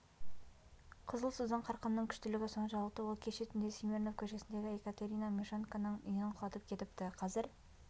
қызыл судың қарқынының күштілігі соншалықты ол кеше түнде смирнов көшесіндегі екатерина мищенконың үйін құлатып кетіпті қазір